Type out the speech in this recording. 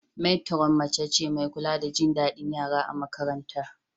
Matron mace ce mai kula da jin daɗin yara a makarantar.